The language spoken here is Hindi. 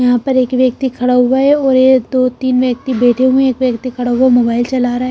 यहां पर एक व्यक्ति खड़ा हुआ है और एक दो तीन व्यक्ति बैठे हुए हैं। एक व्यक्ति खड़ा हुआ मोबाइल चला रहा है।